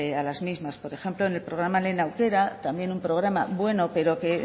a las mismas por ejemplo en el programa lehen aukera también un programa bueno pero que